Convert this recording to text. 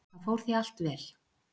Það fór því allt vel.